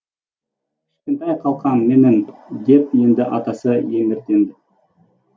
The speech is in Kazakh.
кішкентай қалқам менің деп енді атасы еміренді